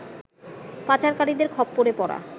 পাচারকারীদের খপ্পরে পড়া